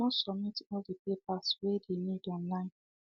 i done submit all the papers way dey need online